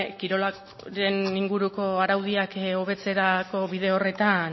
kirolaren inguruko araudiak hobetzerako bide horretan